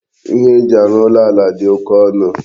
Ihe eji arụ ụlọ ala dị oké ọnụ.